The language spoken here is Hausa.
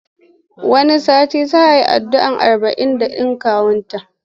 Wani satin za a yi addu'ar arba'in ɗin kawunta.